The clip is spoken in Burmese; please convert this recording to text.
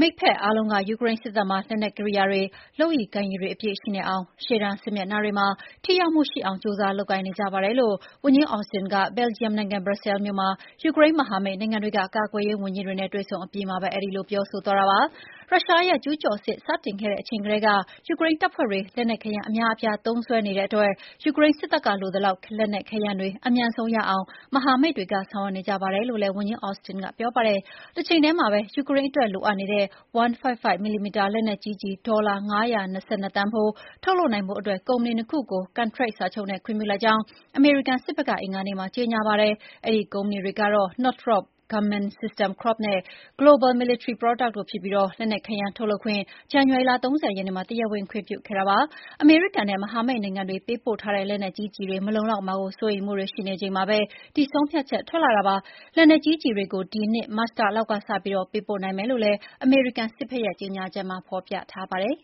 မိတ်ဖက်အားလုံးက ယူကရိန်းစစ်တပ်မှာ လက်နက်ကိရိယာတွေ၊ လုပ်ရည်ကိုင်ရည်တွေအပြည့်ရှိနေအောင် ရှေ့တန်းစစ်မျက်နှာတွေမှာ ထိရောက်မှုရှိအောင် ကြိုးစားလုပ်ကိုင်နေကြပါတယ်လို့ ဝန်ကြီး Austin က ဘယ်လ်ဂျီယံနိုင်ငံ၊ ဘရပ်ဆဲလ်မြို့မှာ ယူကရိန်းမဟာမိတ်နိုင်ငံက ကာကွယ်ရေးဝန်ကြီးတွေနဲ့တွေ့ဆုံအပြီးမှာ အဲဒီလို ပြောဆိုသွားတာပါ။ ရုရှားရဲ့ကျူးကျော်စစ်စတင်ခဲ့တဲ့အချိန်ကတည်းက ယူကရိန်းတပ်ဖွဲ့တွေ လက်နက်ခဲယမ်း အများအပြားသုံးစွဲနေတဲ့အတွက် ယူကရိန်းစစ်တပ်က လိုအပ်သလောက် လက်နက်ခဲယမ်းတွေ အမြန်ဆုံးရအောင် မဟာမိတ်တွေက ဆောင်ရွက်နေကြပါတယ်လို့လည်း ဝန်ကြီး Austin ကပြောပါတယ်။ တချိန်တည်းမှာပဲ ယူကရိန်းအတွက်လိုအပ်တဲ့ 155 mm လက်နက်ကြီးကျည် ဒေါ်လာ ၅၂၂ သန်းဖိုးထုတ်လုပ်ဖို့ ကုမ္ပဏီ ၂ ခုကို ကန်ထရိုက်စာချုပ်နဲ့ ခွင့်ပြုလိုက်ကြောင်း အမေရိကန်စစ်ဘက်က အင်္ဂါနေ့မှာ ကြေညာပါတယ်။ အဲဒီကုမ္ပဏီတွေကတော့ Northrop Grumman System Corp နဲ့ Global Military Products Inc တို့ဖြစ်ပြီး လက်နက်ခဲယမ်းထုတ်လုပ်ခွင့်ကို ဇန်နဝါရီ ၃၀ ရက်နေ့မှာ တရားဝင်ခွင့်ပြုခဲ့တာဖြစ်ပါတယ်။ အမေရိကန်နဲ့ မဟာမိတ်နိုင်ငံတွေပေးပို့ထားတဲ့ လက်နက်ကြီးကျည်တွေ မလုံလောက်မှာကို စိုးရိမ်မှုတွေရှိနေချိန်မှာပဲ ဒီဆုံးဖြတ်ချက်ထွက်လာတာပါ။ လက်နက်ကြီးကျည်တွေကို ဒီနှစ်မတ်လလောက်ကစပြီး ပေးပို့နိုင်မယ်လို့လည်း အမေရိကန်စစ်ဘက်ရဲ့ကြေညာချက်မှာ ဖော်ပြထားပါတယ်